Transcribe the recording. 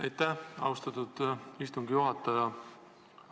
Aitäh, austatud istungi juhataja!